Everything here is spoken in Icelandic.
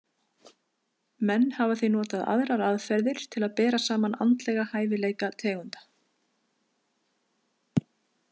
Menn hafa því notað aðrar aðferðir til að bera saman andlega hæfileika tegunda.